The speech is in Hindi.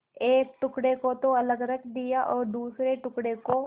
एक टुकड़े को तो अलग रख दिया और दूसरे टुकड़े को